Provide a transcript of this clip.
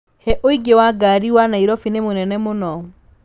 he ũingĩ wa ngari wa Nairobi nĩ mũnene mũno